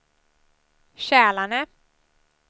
Kälarne